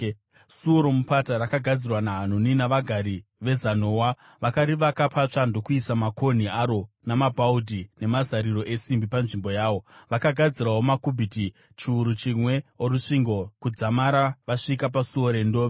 Suo roMupata rakagadzirwa naHanuni navagari veZanoa. Vakarivaka patsva ndokuisa makonhi aro namabhaudhi nemazariro esimbi panzvimbo yawo. Vakagadzirawo makubhiti chiuru chimwe orusvingo kudzamara vasvika paSuo reNdove.